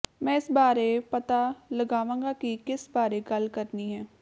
ਮੈਂ ਇਸ ਬਾਰੇ ਪਤਾ ਲਗਾਵਾਂਗਾ ਕਿ ਕਿਸ ਬਾਰੇ ਗੱਲ ਕਰਨੀ ਹੈ